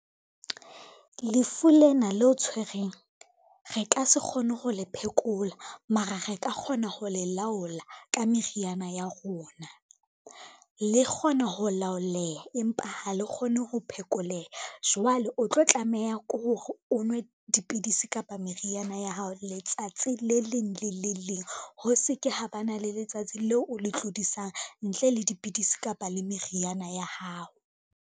Lefu lena leo tshwereng, re ka se kgone ho le phekola mara re ka kgona ho le laola ka meriana ya rona. Le kgona ho laoleha, empa ha le kgone ho phekoleha, jwale o tlo tlameha ke hore o nwe dipidisi kapa meriana ya hao letsatsi le leng le le leng, ho se ke ha ba na le letsatsi leo o le tlodisang ntle le dipidisi kapa le meriana ya hao.